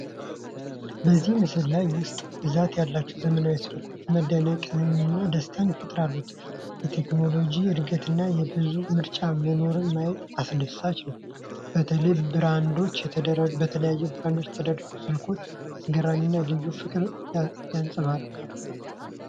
በዚህ ምስል ውስጥ ብዛት ያላቸው ዘመናዊ ስልኮች መደነቅንና ደስታን ይፈጥራሉ። የቴክኖሎጂ እድገትንና የብዙ ምርጫ መኖሩን ማየት አስደሳች ነው። በተለያዩ ብራንዶች የተደረደሩት ስልኮች አስገራሚና የልዩነት ፍቅርን ያንጸባርቃሉ።